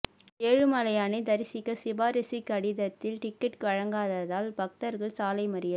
ஏழுமலையானை தரிசிக்க சிபாரிசு கடிதத்தில் டிக்கெட் வழங்காததால் பக்தர்கள் சாலை மறியல்